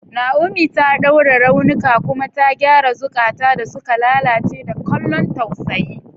Naomi ta ɗaure raunuka kuma ta gyara zukata da suka lalace da kallon tausayi.